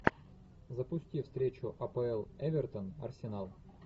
запусти встречу апл эвертон арсенал